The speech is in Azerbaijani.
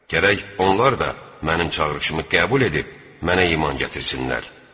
Gərək onlar da mənim çağırışımı qəbul edib mənə iman gətirsinlər.